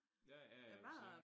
Ja ja ja men sikkert